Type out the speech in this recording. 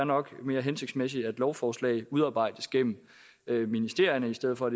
nok er mere hensigtsmæssigt at lovforslag udarbejdes gennem ministerierne i stedet for